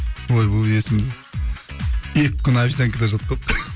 ойбай есімде екі күн обезъянкада жатқанмын